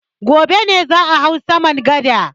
Gobe ne za a hau saman gada.